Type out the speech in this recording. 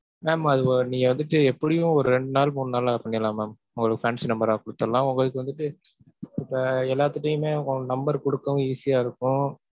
Mam அது ஒரு நீங்க வந்துட்டு எப்படியும் ஒரு ரெண்டு நாள், மூணு நாள்ல பண்ணிரலாம் mam உங்களுக்கு fancy number ஆ குடுத்துருலாம். உங்களுக்கு வந்துட்டு இப்ப எல்லார்கிட்டயுமே உங்க number குடுக்கவும் easy ஆ இருக்கும்.